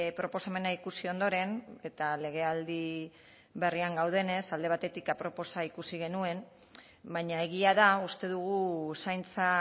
proposamena ikusi ondoren eta legealdi berrian gaudenez alde batetik aproposa ikusi genuen baina egia da uste dugu zaintza